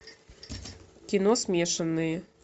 кино смешанные